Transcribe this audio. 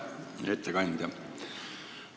Hea ettekandja!